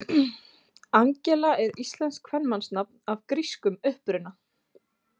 Angela er íslenskt kvenmannsnafn af grískum uppruna.